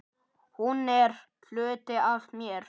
Hann er hluti af mér.